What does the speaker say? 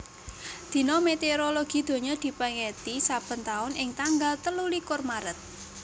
Dina Météorologi Donya dipèngeti saben taun ing tanggal telulikur Maret